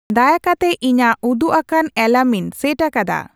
ᱫᱟᱭᱟ ᱠᱟᱛᱮ ᱤᱧᱟᱹᱜ ᱩᱫᱩᱜᱟᱠᱟᱱ ᱮᱞᱟᱨᱢ ᱤᱧ ᱥᱮᱴ ᱟᱠᱟᱫᱟ